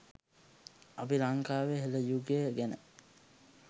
අපි ලංකාවේ හෙළ යුගය ගැන